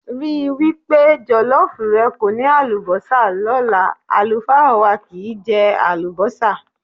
Rí wí pé jọ̀lọ́ọ́fù rẹ kò ní àlùbọ́sà lọ́la, àlùfáà wà kìí jẹ àlùbọ́sà.